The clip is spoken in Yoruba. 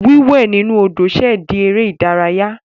Wíwẹ̀ inú Odò ṣẹ̀ di eré ìdárayá.